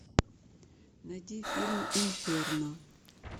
найди фильм инферно